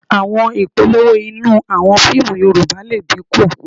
À̀wọn ìpolówó inú àwọn fíìmù Yorùbá lè dínkù